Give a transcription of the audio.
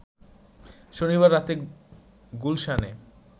শনিবার রাতে গুলশানে